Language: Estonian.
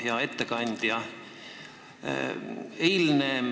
Hea ettekandja!